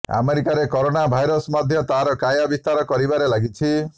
ଆମେରିକାରେ corona virus ମଧ୍ୟ ତାର କାୟା ବିସ୍ତାର କରିବାରେ ଲାଗିଛି